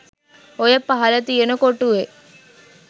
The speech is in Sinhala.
ඔය පහල තියෙන කොටුවේ